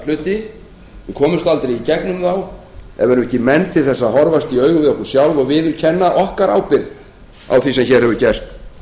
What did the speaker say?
við komumst aldrei í gegnum þá ef við erum ekki menn til að horfast í augu við okkur sjálf og viðurkenna okkar ábyrgð á því sem hér hefur gerst